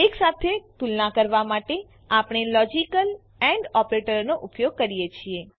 એકસાથે તુલના કરવા માટે આપણે લોજીકલ એન્ડ ઓપરેટરનો ઉપયોગ કરીએ છીએ